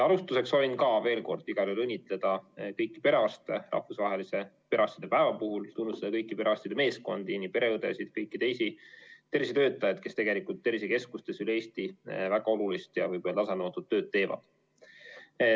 Alustuseks soovin veel kord igal juhul õnnitleda kõiki perearste rahvusvahelise perearstide päeva puhul ning tunnustada kõiki perearstide meeskondi, nii pereõdesid kui ka kõiki teisi tervishoiutöötajaid, kes tegelikult tervisekeskustes üle Eesti väga olulist ja võib öelda, et väga nõutud tööd teevad.